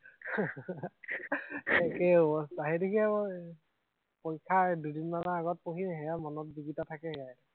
একেই অৱস্থা, সেইদেখিয়ে মই পৰীক্ষাৰ দুদিনমানৰ আগত পঢ়িম, সেইয়া মনত যিকিটা থাকে সেয়াই